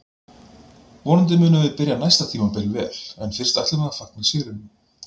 Vonandi munum við byrja næsta tímabil vel en fyrst ætlum við að fagna sigrinum